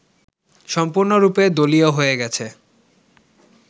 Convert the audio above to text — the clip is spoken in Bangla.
সম্পূর্ণরূপে দলীয় হয়ে গেছে